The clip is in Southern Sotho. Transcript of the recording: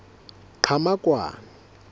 qhamakwane